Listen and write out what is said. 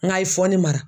N k'a ye fɔ ne mara